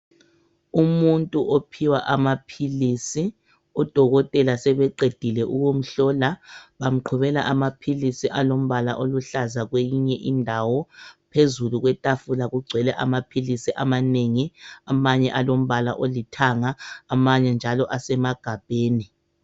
Umuntu ophiwa amaphilisi. Odokotela sebeqedile ukumhlola bamqhubela amaphilisi alombala oluhlaza kweyinye indawo. Phezulu kwetafula kugcwele amaphilisi amanengi. Amanye alombala olithanga, amanye njalo asemagabheni.